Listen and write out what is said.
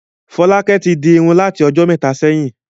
Fọ́lákẹ́ tí di irun láti ọjọ́ mẹ́ta sẹ́yìn.